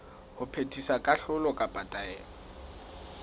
ho phethisa kahlolo kapa taelo